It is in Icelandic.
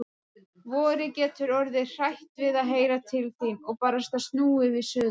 Vorið getur orðið hrætt við að heyra til þín. og barasta snúið við suður.